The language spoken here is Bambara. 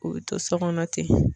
U bɛ to so kɔnɔ ten